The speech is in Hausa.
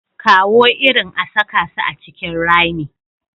Kawo irin a saka su a cikin rami.